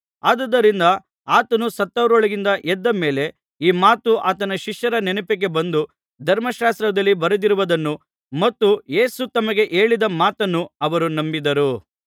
ಆದುದರಿಂದ ಆತನು ಸತ್ತವರೊಳಗಿಂದ ಎದ್ದ ಮೇಲೆ ಈ ಮಾತು ಆತನ ಶಿಷ್ಯರ ನೆನಪಿಗೆ ಬಂದು ಧರ್ಮಶಾಸ್ತ್ರದಲ್ಲಿ ಬರೆದಿರುವುದನ್ನೂ ಮತ್ತು ಯೇಸು ತಮಗೆ ಹೇಳಿದ ಮಾತನ್ನೂ ಅವರು ನಂಬಿದರು